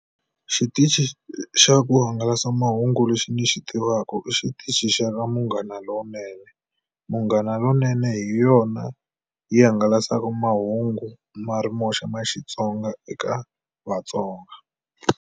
Xitichi xa ku hangalasa mahungu lexi ni xi tivaka i xitichi xa ka Munghana Lonene. Munghana Lonene hi yona yi hangalasaka mahungu ma ri moxa ma Xitsonga eka vatsonga.